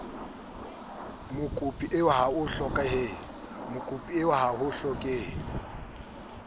mokopi eo ha ho hlokehe